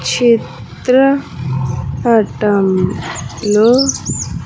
చిత్ర పటం లో .